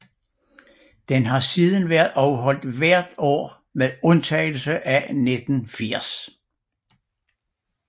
Den har siden været afholdt hvert år med undtagelse af 1980